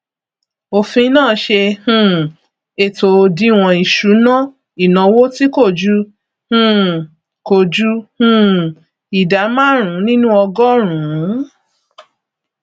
òfin náà ṣe um ètò òdiwọn ìṣúná ìnáwó tí kò ju um kò ju um ìdá márùn nínú ọgọrùnún